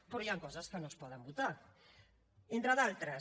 però hi han coses que no es poden votar entre d’altres